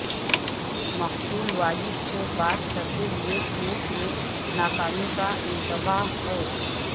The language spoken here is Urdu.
مقتول والد سے بات کرتے ہوئے کیس میں ناکامی کا انتباہ ہے